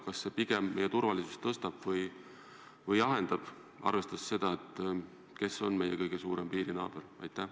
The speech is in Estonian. Kas see meie turvalisust pigem tõstab või alandab, arvestades seda, kes on meie kõige suurem naaber?